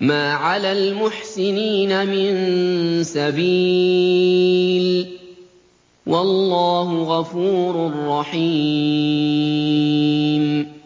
مَا عَلَى الْمُحْسِنِينَ مِن سَبِيلٍ ۚ وَاللَّهُ غَفُورٌ رَّحِيمٌ